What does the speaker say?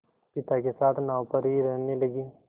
पिता के साथ नाव पर ही रहने लगी